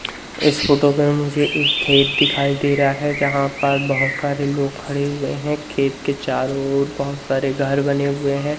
इस फोटो में मुझे एक खेत दिखाई दे रहा है। जहां पर बहुत सारे लोग खड़े हुए हैं। खेत के चारों ओर बहुत सारे घर बने हुए हैं।